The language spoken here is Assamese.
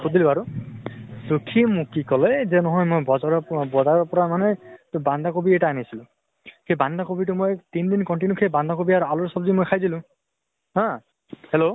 খুদিলো আৰু। so সি মোক কি কলে যে নহয় মই বজাৰৰ প বজাৰৰ পৰা মানে ত বান্ধা কবি এটা আনছিলো। সেই বান্ধা কবিটো মই তিন দিন continue সেই বান্ধা কবি আৰু আলুৰ চব্জি মই খাই দিলো হা, hello